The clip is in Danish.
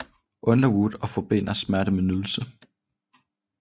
Underwood og forbinder smerte med nydelse